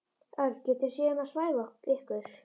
Örn getur séð um að svæfa ykkur.